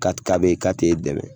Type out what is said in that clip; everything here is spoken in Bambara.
ka t'e dɛmɛ